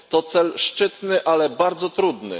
To cel szczytny, ale bardzo trudny.